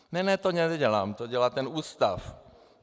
"Ne, ne, to nedělám, to dělá ten ústav."